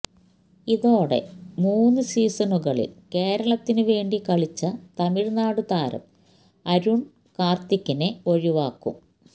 ഇതോടെ മുന് സീസണുകളില് കേരളത്തിന് വേണ്ടി കളിച്ച തമിഴ്നാട് താരം അരുണ് കാര്ത്തിക്കിനെ ഒഴിവാക്കും